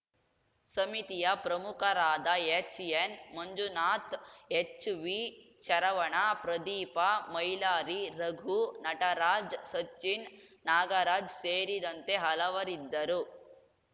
ಸಮಿತಿಯ ಪ್ರಮುಖರಾದ ಎಚ್‌ಎನ್‌ ಮಂಜುನಾಥ್‌ ಎಚ್‌ವಿಶರವಣ ಪ್ರದೀಪ ಮೈಲಾರಿರಘು ನಟರಾಜ್‌ ಸಚಿನ್‌ ನಾಗರಾಜ್‌ ಸೇರಿದಂತೆ ಹಲವರಿದ್ದರು